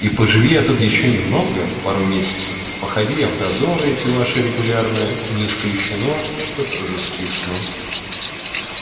и поживи я тут ещё немного пару месяцев походи я в дозоры эти ваши регулярно не исключено что тоже скисну